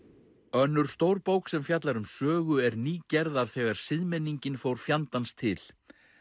önnur stór bók sem fjallar um sögu er ný gerð af þegar siðmenningin fór fjandans til